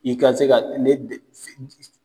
I ka se ka ne